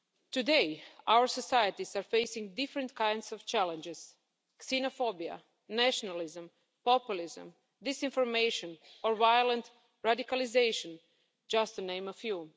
Today our societies are facing different kinds of challenges xenophobia, nationalism, populism, disinformation or violent radicalisation, just to name a few.